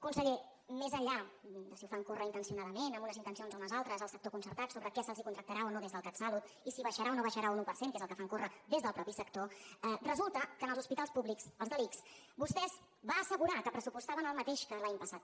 conseller més enllà de si ho fan córrer intencionadament amb unes intencions o unes altres al sector concertat sobre què se’ls contractarà o no des del catsalut i si baixarà o no baixarà un un per cent que és el que fan córrer des del mateix sector resulta que en els hospitals públics els de l’ics vostès van assegurar que pressupostaven el mateix que l’any passat